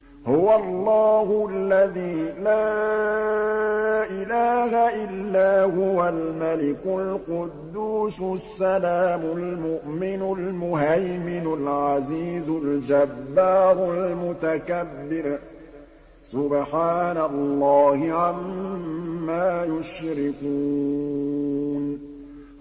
هُوَ اللَّهُ الَّذِي لَا إِلَٰهَ إِلَّا هُوَ الْمَلِكُ الْقُدُّوسُ السَّلَامُ الْمُؤْمِنُ الْمُهَيْمِنُ الْعَزِيزُ الْجَبَّارُ الْمُتَكَبِّرُ ۚ سُبْحَانَ اللَّهِ عَمَّا يُشْرِكُونَ